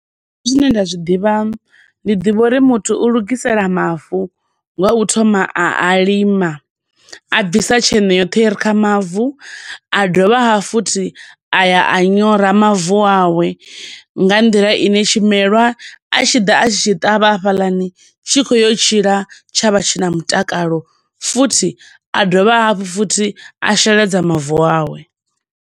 Nṋe zwine nda zwiḓivha, ndi ḓivha uri muthu u lugisela mavu nga u thoma a a lima, a bvisa tsheṋe yoṱhe ire kha mavu. A dovha ha futhi a ya a nyora mavu awe nga nḓila ine tshimelwa a tshi ḓa a tshi tshi tavha hafhaḽani, tshi khouya u tshila tsha vha tshi na mutakalo, futhi a dovha hafhu futhi a sheledza mavu awe.